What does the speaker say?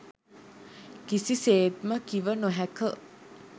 කිසිසේත්ම කිව නොහැක.